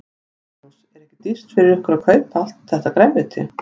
Magnús: Er ekki dýrt fyrir ykkur að kaupa allt þetta grænmeti?